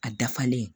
A dafalen